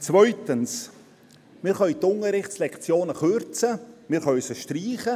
Zweitens: Wir können die Unterrichtslektionen kürzen, wir können sie streichen.